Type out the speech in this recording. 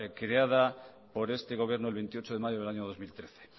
creada por este gobierno el veintiocho de mayo del año dos mil trece